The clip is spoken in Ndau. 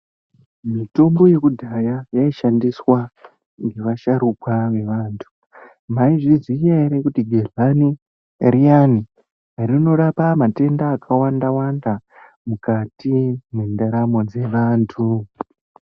Mitombo yokudhaya yaishandiswa ngevasharuka, nevantu. Maizviziya ere kuti gedhlani riyani rinorapa matenda akawanda -wanda mukati mendaramo dzevantu .